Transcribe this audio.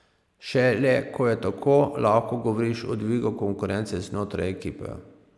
Šele ko je tako, lahko govoriš o dvigu konkurence znotraj ekipe.